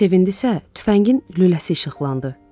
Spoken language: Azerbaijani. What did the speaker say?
Necə sevindi isə tüfəngin lüləsi işıqlandı.